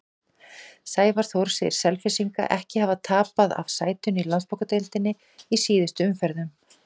Sævar Þór segir Selfyssinga ekki hafa tapað af sætinu í Landsbankadeildinni í síðustu umferðunum.